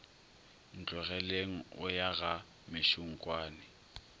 ntlogeleng o ya ga mešunkwane